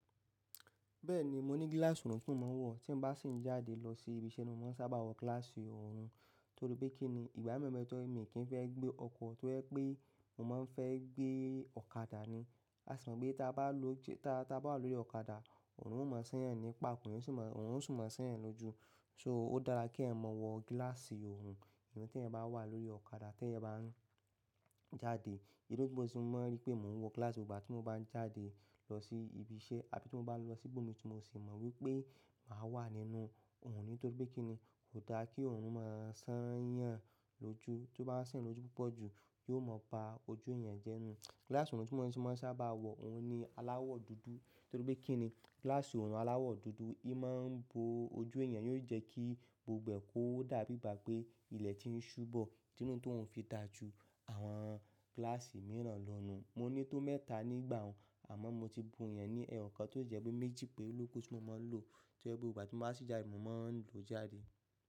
Bẹ́ẹ̀ni, mo ní gíláàsì oorun tí mò ń wọ̀. Tí èmi bá sì ń jáde lọ sí ibi iṣẹ́ ni mo máa ń sábà wọ gíláàsì òòrùn. Nítorí pé kí ni? Ìgbà mi be tọ́ ẹ mi kì í fẹ́ gbé ọkọ̀, to ye pé mo máa ń fẹ́ gbé ọ̀kadà ni. A sì mọ̀ pé tí a bá lọ-- tí a bá wà lórí ọ̀kadà, òòrùn ó mọ́ sányàn nípa, òun sì mọ-- òun sì máa ń sányàn lójú. So, ó dára kí ẹ mọ wọ gíláàsì òòrùn. Ìgbà tí ẹ bá wà lórí ọ̀kadà, tí ẹ bá ń jáde, èrò tó mọ́ sí i ni mo máa ń rí pé mò ń wọ gíláàsì gbogbo ìgbà tí mo bá ń jáde lọ sí ibi iṣẹ́, àbí tí mo bá lọ sí ibòmíràn, mo sì mọ̀ wípé màá wà nínú òòrùn nítorí pé kí ni? Kò dára kí òòrùn máa sányàn lójú. Tó bá ń sányàn lójú púpọ̀ jù yóò mọ ba ojú èèyàn jẹ́ nù. Gíláàsì oorun ti mo maa n sábà wo oun ni alaawo dúdú. Nítorí pé kí ni? Gíláàsì òòrùn aláwọ̀ dúdú, í mo ń bo ojú èèyàn, yóò jẹ́ kí gbogbo èkó dá bíi ìgbà pé ilẹ̀ ti ń ṣúbọ̀. Tínú tó òun fi dá ju àwọn gíláàsì mìíràn lọ nù. Mo ní tó mẹ́ta nígbà wọ́n, àmọ́ mo ti bu ìyẹn ní ẹ̀yọ̀kan tó jẹ́ pé méjì pére lo ku tí mo máa ń lò. Torí pé gbogbo ìgbà tí mo bá sì ń jáde, mò ń lọ jáde.